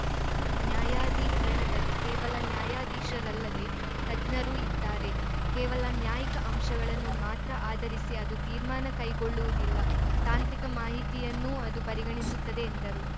ನ್ಯಾಯಾಧಿಕರಣದಲ್ಲಿ ಕೇವಲ ನ್ಯಾಯಾಧೀಶರಲ್ಲದೆ ತಜ್ಞರೂ ಇದ್ದಾರೆ ಕೇವಲ ನ್ಯಾಯಿಕ ಅಂಶಗಳನ್ನು ಮಾತ್ರ ಆಧರಿಸಿ ಅದು ತೀರ್ಮಾನ ಕೈಗೊಳ್ಳುವುದಿಲ್ಲ ತಾಂತ್ರಿಕ ಮಾಹಿತಿಯನ್ನೂ ಅದು ಪರಿಗಣಿಸುತ್ತದೆ ಎಂದರು